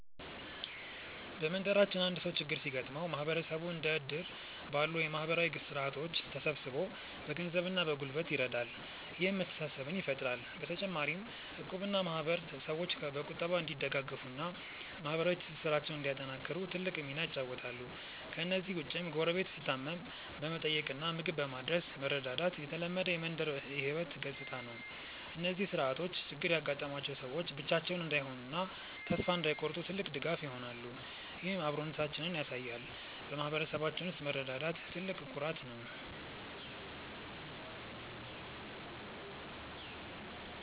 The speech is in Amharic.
በመንደራችን አንድ ሰው ችግር ሲገጥመው ማህበረሰቡ እንደ እድር ባሉ ማህበራዊ ስርዓቶች ተሰባስቦ በገንዘብና በጉልበት ይረዳል፤ ይህም መተሳሰብን ይፈጥራል። በተጨማሪም እቁብና ማህበር ሰዎች በቁጠባ እንዲደጋገፉና ማህበራዊ ትስስራቸውን እንዲያጠናክሩ ትልቅ ሚና ይጫወታሉ። ከእነዚህ ውጭም ጎረቤት ሲታመም በመጠየቅና ምግብ በማድረስ መረዳዳት የተለመደ የመንደር ህይወት ገጽታ ነው። እነዚህ ስርዓቶች ችግር ያጋጠማቸው ሰዎች ብቻቸውን እንዳይሆኑና ተስፋ እንዳይቆርጡ ትልቅ ድጋፍ ይሆናሉ፤ ይህም አብሮነታችንን ያሳያል። በማህበረሰባችን ውስጥ መረዳዳት ትልቅ ኩራት ነው።